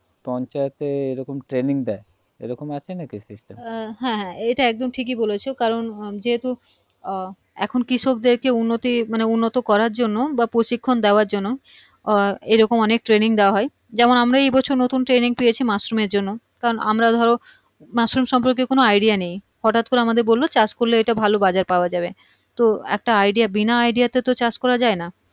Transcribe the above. যেমন আমরা এই বছর নতুন training পেয়েছি মাশরুমের জন্য কারণ আমরা ধরো মাশরুম সম্পর্কে কোনো Idea নেই হটাৎ করে আমাদের বললো চাষ করলে এটা ভালো বাজার পাওয়া যাবে তো একটা Idea বিনা Idea তে তো চাষ করা যাই না